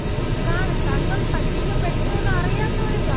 കാണും തങ്ങൾ പറ്റിക്കപ്പെട്ടു എന്നറിയാത്തവരും കാണും.